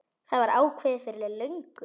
Það var ákveðið fyrir löngu.